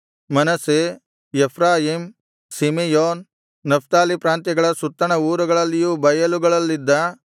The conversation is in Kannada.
ಮನಸ್ಸೆ ಎಫ್ರಾಯೀಮ್ ಸಿಮೆಯೋನ್ ನಫ್ತಾಲಿ ಪ್ರಾಂತ್ಯಗಳ ಸುತ್ತಣ ಊರುಗಳಲಿಯೂ ಬಯಲುಗಳಲ್ಲಿದ್ದ